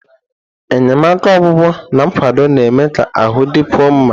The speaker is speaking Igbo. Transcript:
Enyemaka ọgwụgwọ na nkwado na-eme ka ahụ dịkwuo mma.